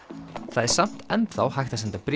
það er samt enn þá hægt að senda bréf